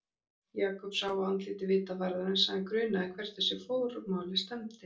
Jakob sá á andliti vitavarðarins að hann grunaði hvert þessi formáli stefndi.